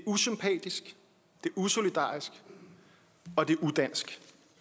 usolidarisk og det er udansk